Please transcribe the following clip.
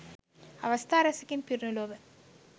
අවස්ථා රැසකින් පිරුණු ලොව